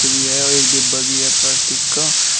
है और एक डिब्बा भी है प्लास्टिक का।